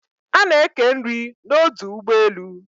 A na eke nri n'odu ugbo elu